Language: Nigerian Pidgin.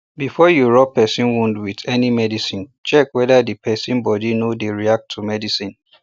before you rub person wound with any medicine check wether the person body no dey react to medicine